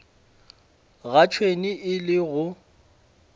ga tšhwene e le go